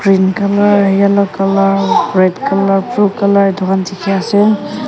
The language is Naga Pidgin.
pink colour yellow colour red colour blue colour etu dekhi ase.